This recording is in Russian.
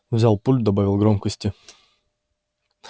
взял пульт добавил громкости